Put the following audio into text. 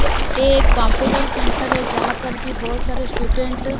ये एक computer centre है जहां पर कि बहुत सारे स्टूडेंट --